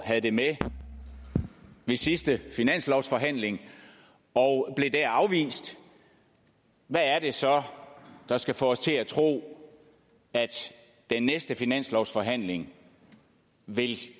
havde det med ved sidste finanslovsforhandling og blev der afvist hvad er det så der skal få os til at tro at den næste finanslovsforhandling vil